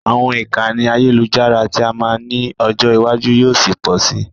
Àwọn ìkànnì àyẹ́lujára tí a máa ní ọjọ́ ìwájú yóò ṣi pọ si.